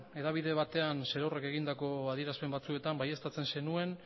hedabide batean zerorrek egindako adierazpen batzuetan baieztatzen zenuen